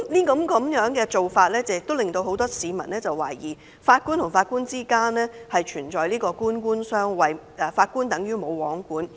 這做法令很多市民懷疑法官與法官之間存在官官相衞，法官等於"無皇管"。